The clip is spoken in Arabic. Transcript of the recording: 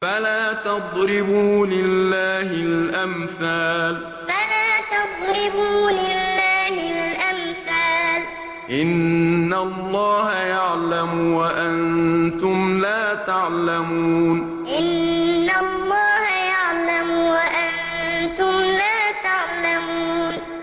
فَلَا تَضْرِبُوا لِلَّهِ الْأَمْثَالَ ۚ إِنَّ اللَّهَ يَعْلَمُ وَأَنتُمْ لَا تَعْلَمُونَ فَلَا تَضْرِبُوا لِلَّهِ الْأَمْثَالَ ۚ إِنَّ اللَّهَ يَعْلَمُ وَأَنتُمْ لَا تَعْلَمُونَ